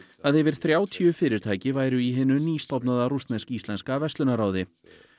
að yfir þrjátíu fyrirtæki væru í hinu nýstofnaða rússnesk íslenska verslunarráði